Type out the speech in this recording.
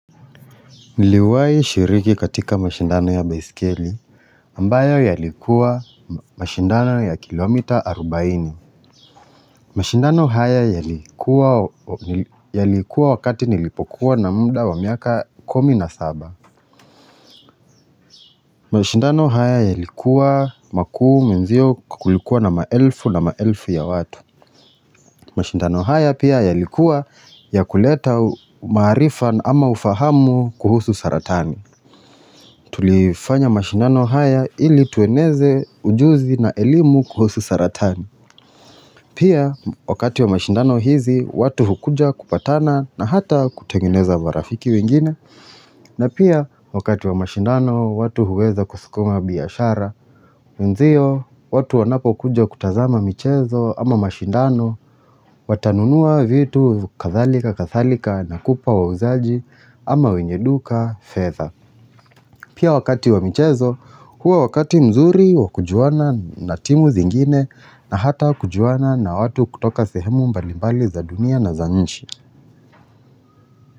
Niliwai shiriki katika mashindano ya baiskeli ambayo yalikuwa mashindano ya kilomita arubaini. Mashindano haya yalikuwa wakati nilipokuwa na muda wa miaka kumi na saba. Mashindano haya yalikuwa makuu menzio kulikuwa na maelfu na maelfu ya watu. Mashindano haya pia yalikuwa ya kuleta maarifa ama ufahamu kuhusu saratani. Tulifanya mashindano haya ili tueneze ujuzi na elimu kuhusu saratani Pia wakati wa mashindano hizi watu hukuja kupatana na hata kutengeneza marafiki wengine na pia wakati wa mashindano watu huweza kuskuma biashara Ndiyo watu wanapo kuja kutazama michezo ama mashindano Watanunua vitu kathalika kathalika na kupa wauzaji ama wenye duka fedha Pia wakati wa michezo, huwa wakati mzuri wakujuana na timu zingine na hata wakujuana na watu kutoka sehemu mbalimbali za dunia na za nchi.